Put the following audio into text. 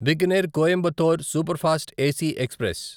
Bikaner Coimbatore superfast AC express